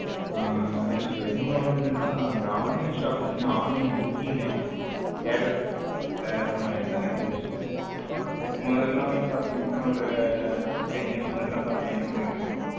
நான் சொல்றது இன்னொன்னு என்னன்னா இந்த online shopping online booking எல்லாமே வந்துடுச்சுல முதல்ல பாத்தீங்கன்னா ஒரு ten years முன்னாடி பாத்தீங்கன்னா என்ன பண்ணிட்டு இருந்தோம்.